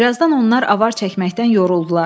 Birazdan onlar avar çəkməkdən yoruldular.